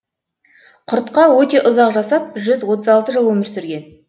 құртқа өте ұзақ жасап жүз отыз алты жыл өмір сүрген